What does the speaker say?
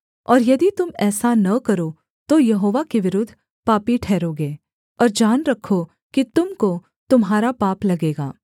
और यदि तुम ऐसा न करो तो यहोवा के विरुद्ध पापी ठहरोगे और जान रखो कि तुम को तुम्हारा पाप लगेगा